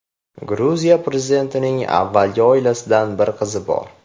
Gruziya prezidentining avvalgi oilasidan bir qizi bor.